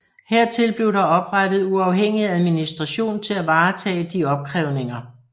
Hertil blev der oprettet uafhængig administration til at varetage de opkrævninger